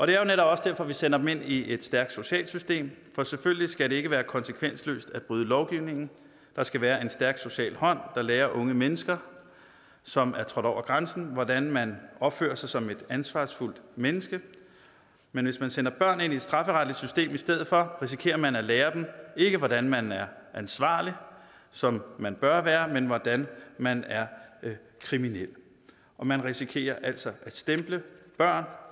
det er netop også derfor vi sender dem ind i et stærkt socialt system for selvfølgelig skal det ikke være konsekvensløst at bryde lovgivningen der skal være en stærk social hånd der lærer unge mennesker som er trådt over grænsen hvordan man opfører sig som et ansvarsfuldt menneske men hvis man sender børn ind i et strafferetligt system i stedet for risikerer man at lære dem ikke hvordan man er ansvarlig som man bør være men hvordan man er kriminel man risikerer altså at stemple børn